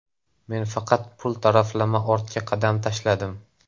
Men faqat pul taraflama ortga qadam tashladim.